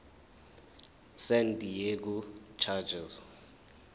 san diego chargers